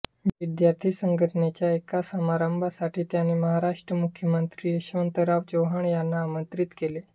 विद्यार्थी संघटनेच्या एका समारंभासाठी त्यांनी महाराष्ट्राचे मुख्यमंत्री यशवंतराव चव्हाण यांना आमंत्रित केले